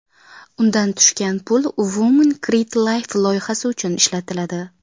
Undan tushgan pul Women Create Life loyihasi uchun ishlatiladi.